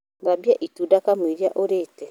Thambia itunda kamũira ũrite